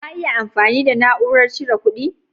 Ka iya amfani da na'urar cire ƙudi?